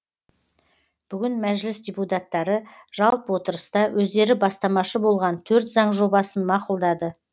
бүгін мәжіліс депутаттары жалпы отырыста өздері бастамашы болған төрт заң жобасын мақұлдады